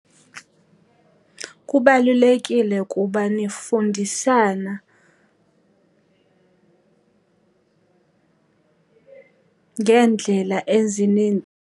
Kubalulekile kuba nifundisana ngeendlela eziningi.